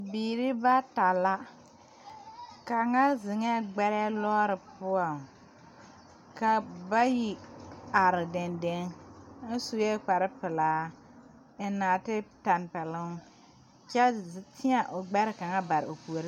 Bibiiri bata la kaŋa zeŋɛɛ gbɛrɛɛ lɔɔre poɔŋ ka bayi are dendeŋ kaŋa sue kparepelaa eŋ nɔɔtetɛmpɛloŋ kyɛ teɛ o gbɛre kaŋa bare o puoriŋ.